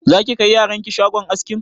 Za ki kai yaran ki shagon askin?